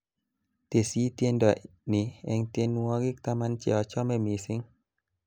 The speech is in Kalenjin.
teshi tiendo ni eng tendwongik taman che ochnme mising